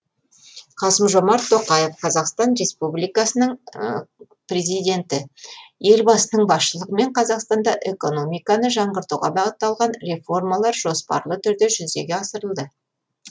қасым жомарт тоқаев қазақстан республикасының президенті елбасының басшылығымен қазақстанда экономиканы жаңғыртуға бағытталған реформалар жоспарлы түрде жүзеге асырылды